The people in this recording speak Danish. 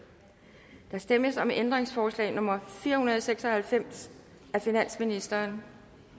der stemmes om ændringsforslag nummer fire hundrede og seks og halvfems af finansministeren